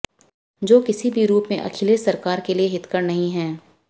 जो किसी भी रूप में अखिलेश सरकार के लिये हितकर नहीं है